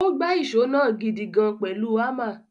Ó gbá ìṣó náà gidigan pẹ̀lú hámà.